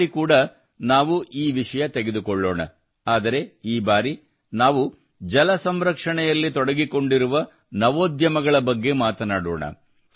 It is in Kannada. ಈ ಬಾರಿ ಕೂಡಾ ನಾವು ಈ ವಿಷಯ ತೆಗೆದುಕೊಳ್ಳೋಣ ಆದರೆ ಈ ಬಾರಿ ನಾವು ಜಲ ಸಂರಕ್ಷಣೆಯಲ್ಲಿ ತೊಡಗಿಕೊಂಡಿರುವ ನವೋದ್ಯಮಗಳ ಬಗ್ಗೆ ಮಾತನಾಡೋಣ